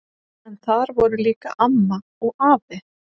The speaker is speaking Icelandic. En þar voru líka amma og afi.